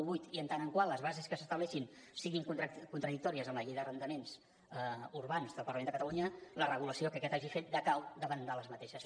vuit i en tant que les bases que s’estableixin siguin contradictòries amb la llei d’arrendaments urbans del parlament de catalunya la regulació que aquest hagi fet decau davant d’aquestes